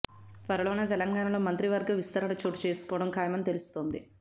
త్వరలోనే తెలంగాణలో మంత్రివర్గ విస్తరణ చోటు చేసుకోవడం ఖాయమని తెలుస్తోంది